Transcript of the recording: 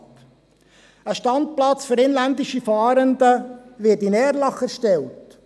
Ein Standplatz für inländische Fahrende wird in Erlach erstellt.